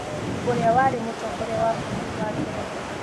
ũrĩa warĩ mũtongoria wa bũrũri wa Ngeretha